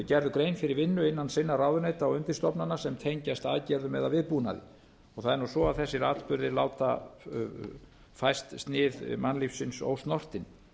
gerðu grein fyrir vinnu innan sinna ráðuneyta og undirstofnana sem tengjast aðgerðum eða viðbúnaði og það nú svo að þessir atburðir láta fæst sig mannlífsins ósnortin